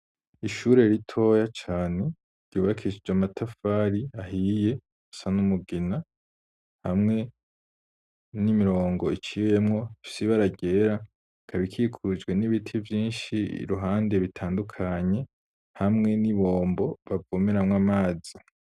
Ishure ritoya cane, ryubakishije amatafari ahiye, asa n'umugina, hamwe n'imirongo iciyemwo, ifise ibara ryera; ikaba ikikujwe n'ibiti vyinshi iruhande, bitandukanye, hamwe n'ibombo, bavomeramwo amazi.